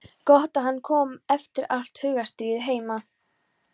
Gott að hann kom eftir allt hugarstríðið heima.